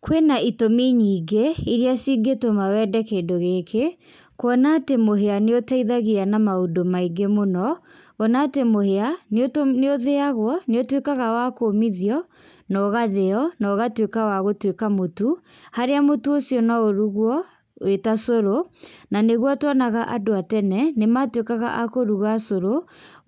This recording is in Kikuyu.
Kwĩna itũmi nyingĩ, iria cingĩtũma wende kĩndũ gĩki, kuona atĩ mũhĩa nĩ ũteithagia na maũndũ maingĩ mũno, kuona atĩ mũhĩa nĩ ũthĩagwo nĩ ũtuĩkaga wa kũmithio na ũgathĩo na ũgatuĩka wa gũtuĩka mũtu harĩa mũtu ũcio no urugwo wĩ ta cũrũ, na nĩguo tuonaga andũ a tene nĩ matuĩkaga a kũruga cũrũ